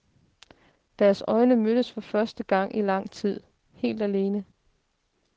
Deres øjne mødes, for første gang i lang tid, helt alene.